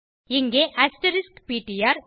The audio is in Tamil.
இங்கே அஸ்டெரிஸ்க் பிடிஆர்